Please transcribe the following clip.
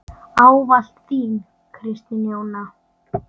Ávallt þín, Kristín Jóna.